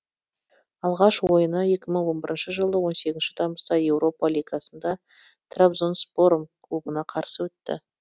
алғаш ойыны екі мың он бірінші жылы он сегізінші тамызда еуропа лигасында трабзонспором клубына қарсы өтті